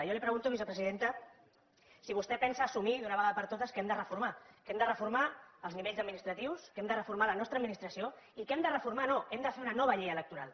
jo li pregunto vicepresidenta si vostè pensa assumir d’una vegada per totes que hem de reformar que hem de reformar els nivells administratius que hem de reformar la nostra administració i que hem de reformar no hem de fer una nova llei electoral